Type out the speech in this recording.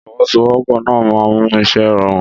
Ìfọwọ́sowọ́pọ̀ náà máa ń mú iṣẹ́ rọrùn